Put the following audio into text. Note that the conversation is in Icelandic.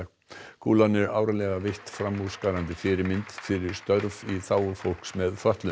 kúlan er árlega veitt framúrskarandi fyrirmynd fyrir störf í þágu fólks með fötlun